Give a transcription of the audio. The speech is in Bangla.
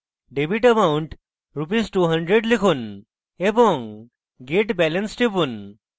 debit অ্যামাউন্ট rs 200 লিখুন এবং get balance টিপুন